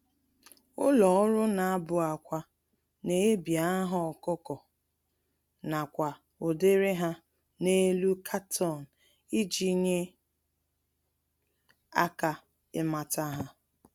Ụlọ-ọrụ-na-abụ-ákwà n'ebi aha ọkụkọ, nakwa ụdịrị há n'elu carton iji nye aka ịmata há